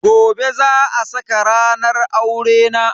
Gobe za a saka ranar aurena.